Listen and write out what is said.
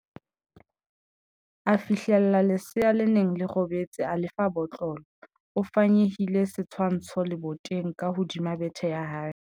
a fihlella lesea le neng le robetse a le fa botlolo, o fanyehile setshwansho leboteng ka hodima bethe ya hae